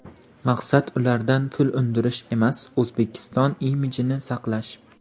Maqsad ulardan pul undirish emas, O‘zbekiston imijini saqlash”.